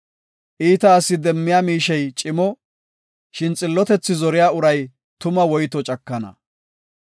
Iita asi demmiya miishey cimo; shin xillotethaa zeriya uray tuma woyto cakana.